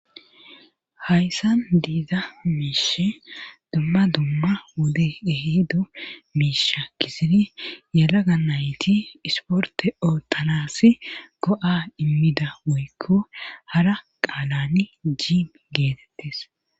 Hayssa diiza miishe dumma dumma wode ehido miisha kisidi yalaga nayti isporte o talasi go7a immida woykko hara qaalani jiim geetettes.